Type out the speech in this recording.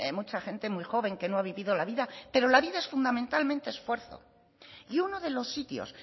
mucha gente muy joven que no ha vivido la vida pero la vida es fundamentalmente esfuerzo y uno de los sitios